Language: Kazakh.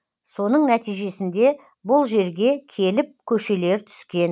соның нәтижесінде бұл жерге келіп көшелер түскен